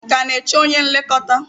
Ị ka na-eche onye nlekọta?